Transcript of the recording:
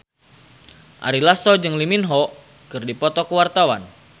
Ari Lasso jeung Lee Min Ho keur dipoto ku wartawan